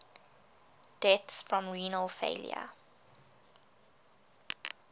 deaths from renal failure